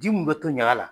Ji mun be to ɲaga la